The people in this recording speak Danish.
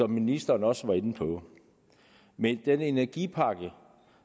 ministeren også var inde på med den energipakke